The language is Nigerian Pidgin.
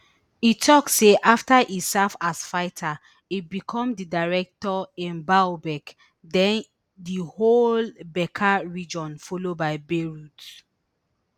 e tok say afta e serve as fighter e become di director in baalbek den di whole bekaa region followed by beirut